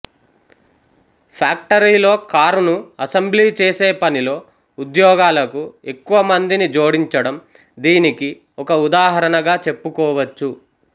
ఫ్యాక్టరీలో కారును అసెంబ్లీ చేసే పనిలో ఉద్యోగాలకు ఎక్కువ మందిని జోడించడం దీనికి ఒక ఉదాహరణగా చెప్పుకోవచ్చు